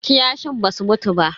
Kiyashin basu mutu ba.